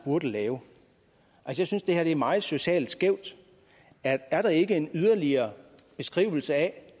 burde lave jeg synes det her er meget socialt skævt er er der ikke en yderligere beskrivelse af